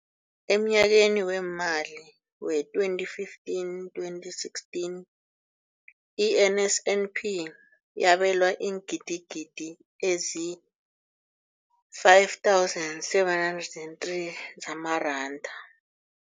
Emnyakeni weemali we-2015, 2016, i-NSNP yabelwa iingidigidi ezi-5 703 zamaranda.